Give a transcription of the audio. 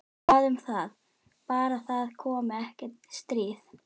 Hvað um það- bara það komi ekki stríð.